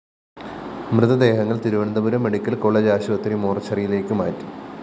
മൃതദേഹങ്ങള്‍ Thiruvananthapuram medical college ആശുപത്രി മോര്‍ച്ചറിയിലേക്കു മാറ്റി